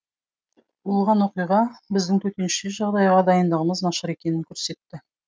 болған оқиға біздің төтенше жағдайға дайындығымыз нашар екенін көрсетті